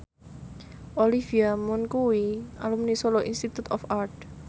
Olivia Munn kuwi alumni Solo Institute of Art